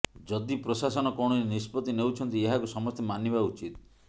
ଯଦି ପ୍ରଶାସନ କୌଣସି ନିଷ୍ପତ୍ତି ନେଉଛନ୍ତି ଏହାକୁ ସମସ୍ତେ ମାନିବା ଉଚିତ